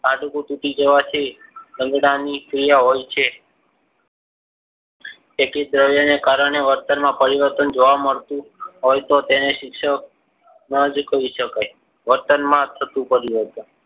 હાથ પર તૂટી જવાથી રખડવાની ક્રિયા હોય છે. તેથી દ્રવ્ય ના કારણે વર્તનમાં પરિવર્તન જોવા મળતું હોય તો તેને શિક્ષક નોંધ કહી શકાય. વર્તનમાં થતું પરિવર્તન